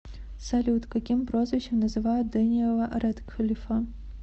салют каким прозвищем называют дэниела рэдклифа